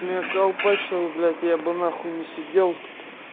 колпачало блять я бы на хуй не сидел тут